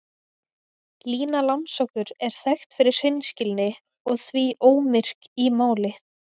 Lína langsokkur er þekkt fyrir hreinskilni og því ómyrk í máli.